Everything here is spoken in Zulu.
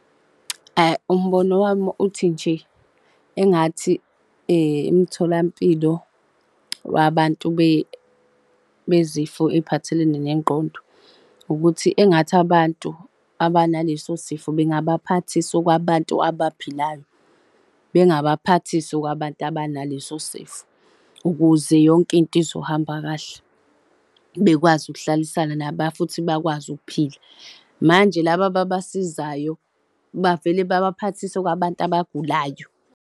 Umbono wami uthi nje engathi emtholampilo wabantu bezifo ey'phathelene nengqondo ukuthi engathi abantu abanaleso sifo bengabaphathisa okwabantu abaphilayo, bengabaphathisi okwabantu abanaleso sifo ukuze yonke into izohamba kahle bekwazi ukuhlalisana nabo futhi bakwazi ukuphila. Manje laba ababasizayo bavele babaphathise okwabantu abagulayo.